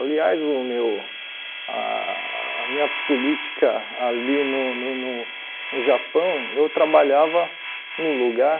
Aliás, o meu ah a minha política ali no no no no no Japão, eu trabalhava num lugar...